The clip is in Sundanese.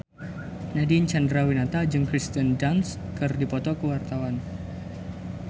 Nadine Chandrawinata jeung Kirsten Dunst keur dipoto ku wartawan